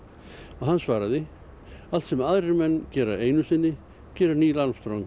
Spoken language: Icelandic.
og hann svaraði allt sem aðrir menn gera einu sinni gerir Neil Armstrong